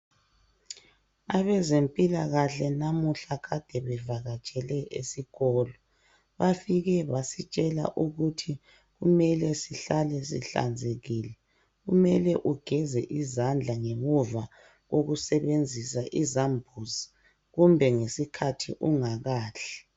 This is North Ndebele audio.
Abezempilakahle namuhla kade bevakatshele esikolo. Bafike basitshela ukuthi kumele sihlale sihlanzekile. Kumele ugeze izandla, ngemuva kokusebenzisa izambuzi. Kumbe ngesikhathi ungakadli.